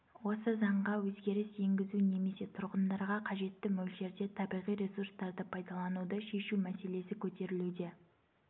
осы заңға өзгеріс енгізу немесе тұрғындарға қажетті мөлшерде табиғи ресурстарды пайдалануды шешу мәселесі көтерілуде